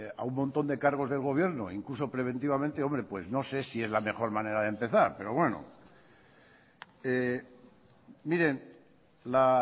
a un montón de cargos del gobierno incluso preventivamente hombre pues no sé si es la mejor manera de empezar pero bueno miren la